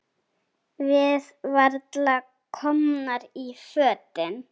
Við varla komnar í fötin.